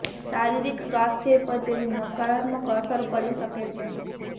શારીરિક સ્વાસ્થ્ય પર તેની નકારાત્મક અસર પડી શકે છે